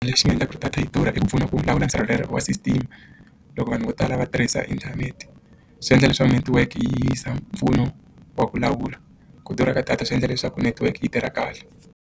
Lexi xi nga endlaka ku ri data yi durha i ku pfuna ku lawula nsirhelelo wa system loko vanhu vo tala va tirhisa inthanete swi endla leswaku network yi yisa mpfuno wa ku lawula ku durha ka data swi endla leswaku network yi tirha kahle.